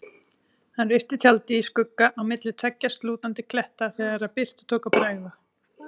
Hann reisti tjaldið í skugga á milli tveggja slútandi kletta þegar birtu tók að bregða.